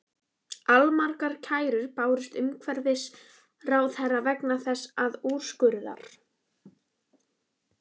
Allmargar kærur bárust umhverfisráðherra vegna þessa úrskurðar.